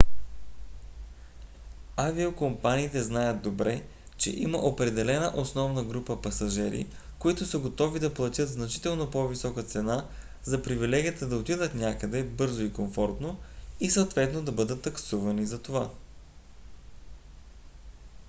авиокомпаниите знаят добре че има определена основна група пасажери които са готови да платят значително по-висока цена за привилегията да отидат някъде бързо и комфортно и съответно да бъдат таксувани затова